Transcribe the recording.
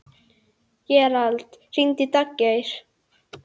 Gerald, hringdu í Daggeir.